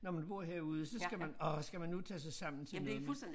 Når man bor herude så skal man åh skal man nu tage sig sammen til noget nyt